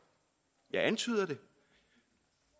jeg antyder det